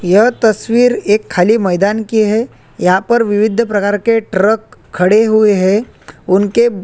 यहाँ तस्वीर एक खाली मैदान की है यहाँ पर विविध प्रकार के ट्रक खड़े हुए हैं उनके--